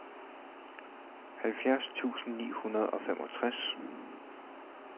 halvfjerds tusind ni hundrede og femogtres